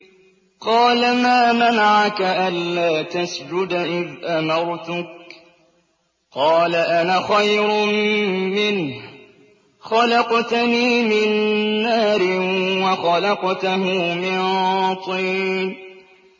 قَالَ مَا مَنَعَكَ أَلَّا تَسْجُدَ إِذْ أَمَرْتُكَ ۖ قَالَ أَنَا خَيْرٌ مِّنْهُ خَلَقْتَنِي مِن نَّارٍ وَخَلَقْتَهُ مِن طِينٍ